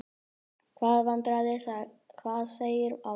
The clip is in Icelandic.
Hvaða vandræði, hvað segir mamma?